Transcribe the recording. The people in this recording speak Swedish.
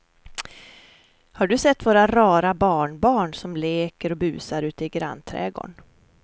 Har du sett våra rara barnbarn som leker och busar ute i grannträdgården!